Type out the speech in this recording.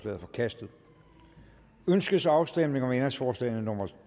er forkastet ønskes afstemning om ændringsforslagene nummer